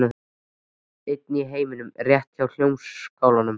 Einn í heiminum rétt hjá Hljómskálanum.